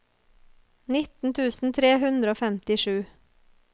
nitten tusen tre hundre og femtisju